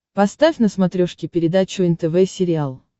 поставь на смотрешке передачу нтв сериал